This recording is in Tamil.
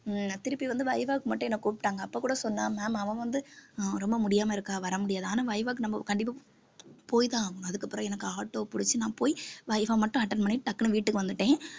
ஆஹ் திருப்பி வந்து viva க்கு மட்டும் என்னை கூப்பிட்டாங்க அப்ப கூட சொன்னா ma'am அவ வந்து உம் ரொம்ப முடியாம இருக்கா வர முடியாது ஆனா viva க்கு நம்ம கண்டிப்பா போய்தான் ஆகணும் அதுக்கப்புறம் எனக்கு auto பிடிச்சு நான் போய் viva மட்டும் attend பண்ணி டக்குனு வீட்டுக்கு வந்துட்டேன்